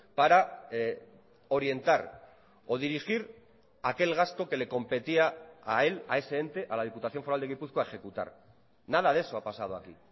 para orientar o dirigir aquel gasto que le competía a él a ese ente a la diputación foral de gipuzkoa ejecutar nada de eso ha pasado aquí